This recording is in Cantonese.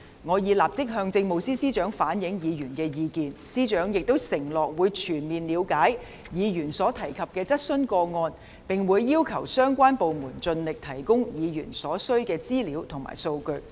我已立即向政務司司長反映議員的意見，司長亦承諾會全面了解議員所提及的質詢個案，並會要求相關部門盡力提供議員所需要的資料和數據。